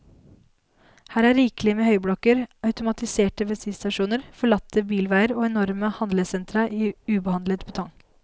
Her er rikelig med høyblokker, automatiserte bensinstasjoner, forlatte bilveier og enorme handlesentra i ubehandlet betong.